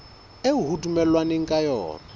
eo ho dumellanweng ka yona